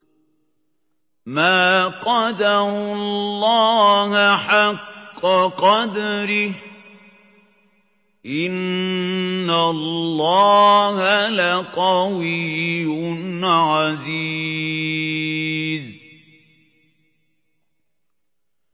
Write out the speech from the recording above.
مَا قَدَرُوا اللَّهَ حَقَّ قَدْرِهِ ۗ إِنَّ اللَّهَ لَقَوِيٌّ عَزِيزٌ